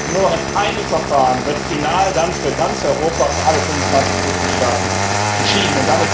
Und nur noch in einem Verfahren wird final dann für ganz Europa, für alle 25 Mitgliedstaaten, entschieden.